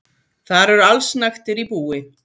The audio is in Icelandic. Þar eru allsnægtir í búi.